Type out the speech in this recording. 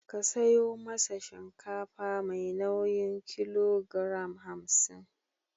Ka sayo masa shinkafa mai nauyin kilogoram hamsin.